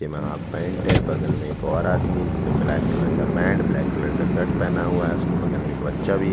एमा half pant है बगल में एक और आदमी है जिसने ब्लैक कलर का पैंट ब्लैक कलर का शर्ट पहना हुआ है उसके बगल में एक बच्चा भी--